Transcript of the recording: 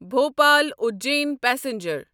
Bhopal Ujjain passenger